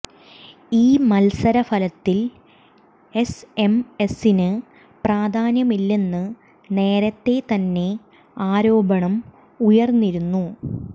ഈ മത്സര ഫലത്തിൽ എസ്എംഎസിന് പ്രധാന്യമില്ലെന്ന് നേരത്തെ തന്നെ ആരോപണം ഉയർന്നിരുന്നു